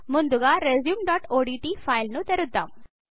ముందుగా resumeఓడ్ట్ ఫైల్ ను తెరుద్దాం